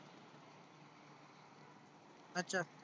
अच्छा.